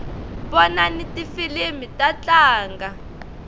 vonsni tifilimi ta tlanga